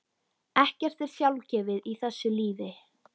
Ekkert er sjálfgefið í þessu lífi.